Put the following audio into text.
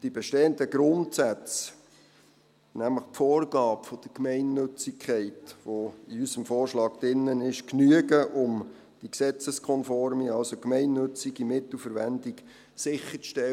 Die bestehenden Grundsätze, nämlich die Vorgabe der Gemeinnützigkeit, die in unserem Vorschlag drin ist, genügen, um die gesetzeskonforme, also gemeinnützige Mittelverwendung sicherzustellen.